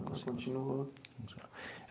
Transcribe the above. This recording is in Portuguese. Ela continuou.